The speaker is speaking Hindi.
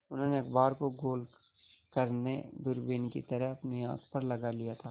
उन्होंने अखबार को गोल करने दूरबीन की तरह अपनी आँख पर लगा लिया था